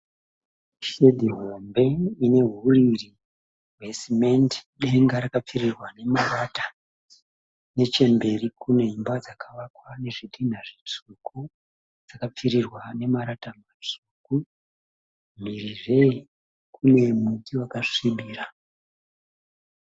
Shedhi hombe ine huriri hwesemende. Denga rakapfirirwa nemarata. Nechemberi kune dzimba dzakavakwa nazvitinha zvitsvuku dzakapfirirwa nemarata matsvuku. Mhirizve kune muti wakasvibira.